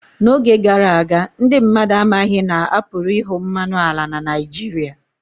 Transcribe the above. N'oge gara aga, ndị mmadụ amaghị na a pụrụ ịhụ mmanụ ala na Naijiria